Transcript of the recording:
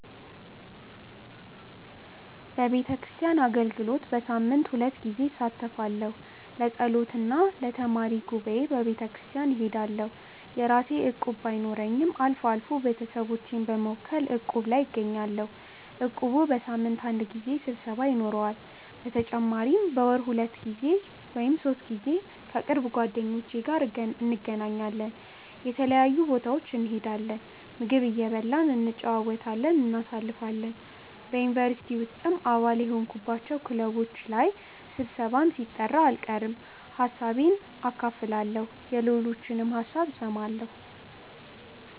በቤተክርስቲያን አገልግሎት በሳምንት ሁለት ጊዜ እሳተፋለሁ። ለጸሎት እና ለተማሪ ጉባኤ በቤተክርስቲያን እሄዳለሁ። የራሴ እቁብ ባይኖረኝም አልፎ አልፎ ቤተሰቦቼን በመወከል እቁብ ላይ እገኛለሁ። እቁቡ በሳምንት አንድ ጊዜ ስብሰባ ይኖረዋል። በተጨማሪም በወር ሁለት ወይም ሶስት ጊዜ ከቅርብ ጓደኞቼ ጋር እንገናኛለን። የተለያዩ ቦታዎች እንሄዳለን፣ ምግብ እየበላን እየተጨዋወትን እናሳልፋለን። በ ዩኒቨርሲቲ ውስጥም አባል የሆንኩባቸው ክለቦች ላይ ስብሰባም ሲጠራ አልቀርም። ሀሳቤን አካፍላለሁ የሌሎችንም ሀሳብ እሰማለሁ።